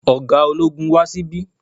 Ọ̀gá ológun wá sí bí